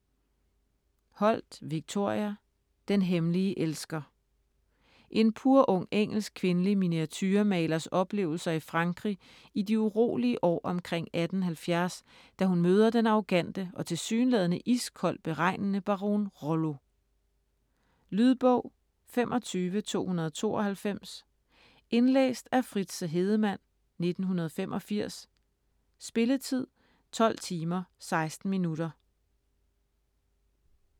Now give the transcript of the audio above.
Holt, Victoria: Den hemmelige elsker En purung engelsk kvindelig miniaturemalers oplevelser i Frankrig i de urolige år omkring 1870, da hun møder den arrogante og tilsyneladende iskoldt beregnende baron Rollo. Lydbog 25292 Indlæst af Fritze Hedemann, 1985. Spilletid: 12 timer, 16 minutter.